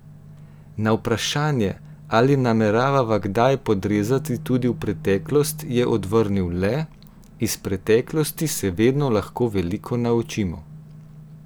Na vprašanje, ali namerava kaj podrezati tudi v preteklost, je odvrnil le: 'Iz preteklosti se vedno lahko veliko naučimo.